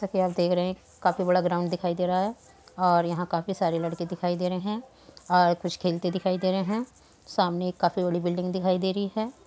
सा कि आप देख रहें हैं काफी बड़ा ग्राउंड दिखाई दे रहा है और काफी सारे लड़के दिखाई दे रहें हैं और कुछ खेलते दिखाई दे रहा है सामने एक काफी बड़ी बिल्डिंग दिखाई दे रही है।